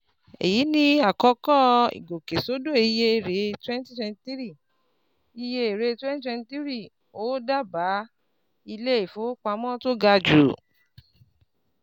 Èyí ni àkọ́kọ́ ìgòkèsódò iye èrè 2023, iye èrè 2023, ó dáàbá ilé-ifówopámọ́ tó ga jù.